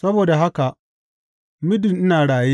Saboda haka, muddin ina raye,